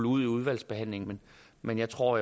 ud i udvalgsbehandlingen men jeg tror